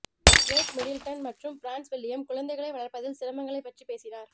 gate Middleton மற்றும் Prince William குழந்தைகளை வளர்ப்பதில் சிரமங்களைப் பற்றி பேசினார்